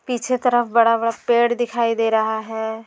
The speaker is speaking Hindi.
पीछे तरफ बड़ा-बड़ा पेड़ दिखाई दे रहा है।